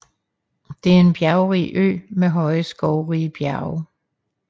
Det er en bjergrig ø med høje skovrige bjerge